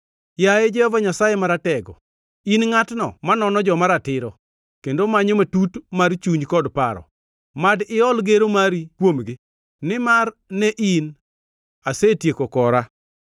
Yaye Jehova Nyasaye Maratego, in ngʼatno manono joma ratiro, kendo manyo matut mar chuny kod paro, mad iol gero mari kuomgi, nimar ne in asetieko kora.